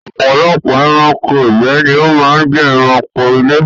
Ọ̀pọ̀lọpọ̀ ẹranko ìgbẹ́ ni ó máa ń jẹ ẹranko ilé.